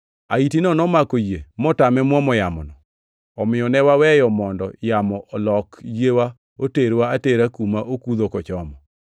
Ahitino nomako yie motame muomo yamono, omiyo ne waweyo mondo yamo olok yie oterwa atera kuma okudho kochomo.